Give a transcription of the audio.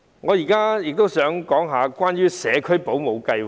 我亦想談關於社區保姆計劃。